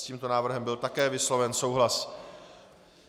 S tímto návrhem byl také vysloven souhlas.